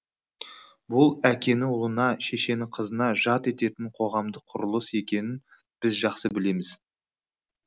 бұл әкені ұлына шешені қызына жат ететін қоғамдық құрылыс екенін біз жақсы білеміз